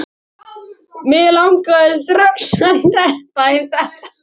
Mig langaði strax að detta í það aftur.